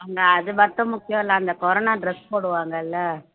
அங்க அது மட்டும் முக்கியம் இல்லை அந்த கொரோனா dress போடுவாங்க இல்லை